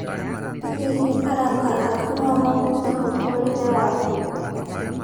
Hihi arata aku no mahutie mũtũũrĩre waku?